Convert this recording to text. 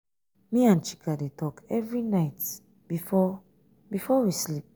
me and chika dey talk every night before before we sleep.